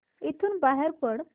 इथून बाहेर पड